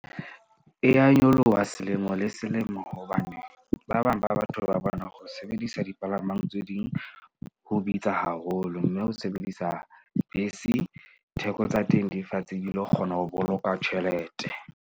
E ya nyoloha selemo le selemo. Hobane ba bang ba batho ba bona ho sebedisa dipalamang tse ding ho bitsa haholo. Mme ho sebedisa bese theko tsa teng di fatshe, di lo kgona ho boloka tjhelete.